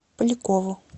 полякову